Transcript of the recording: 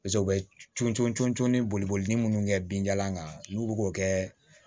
paseke u be cori cori boliboli munnu kɛ binjalan kan n'u be k'o kɛ